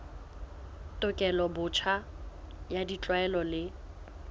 tekolo botjha ya ditlwaelo le